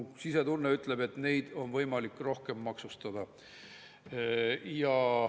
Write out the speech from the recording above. Aga mu sisetunne ütleb, et neid on võimalik rohkem maksustada.